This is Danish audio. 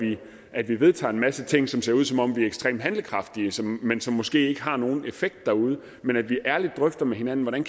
at vi vedtager en masse ting som ser ud som om vi er ekstremt handlekraftige men som måske ikke har nogen effekt derude men at vi ærligt drøfter med hinanden hvordan